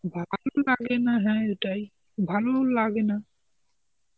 ভালো লাগে না হ্যাঁ এটাই, ভালো লাগেনা.